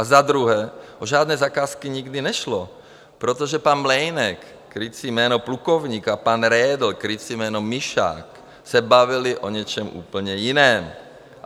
A za druhé, o žádné zakázky nikdy nešlo, protože pan Mlejnek, krycí jméno Plukovník, a pan Redl, krycí jméno Myšák, se bavili o něčem úplně jiném.